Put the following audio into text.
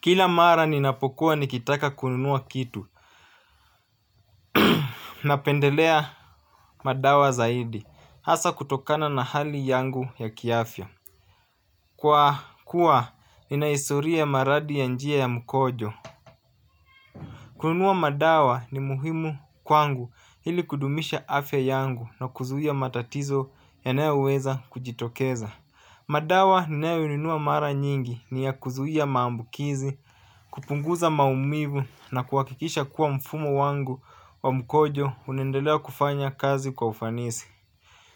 Kila mara ninapokuwa nikitaka kununua kitu. Napendelea madawa zaidi hasa kutokana na hali yangu ya kiafya. Kwa kuwa nina historia ya maradhi ya njia ya mkojo. Kununua madawa ni muhimu kwangu ili kudumisha afya yangu na kuzuia matatizo ya nayoweza kujitokeza. Madawa ninayo nunua mara nyingi ni ya kuzuia maambukizi, kupunguza maumivu na kuhakikisha kuwa mfumo wangu wa mkojo unaendelea kufanya kazi kwa ufanisi.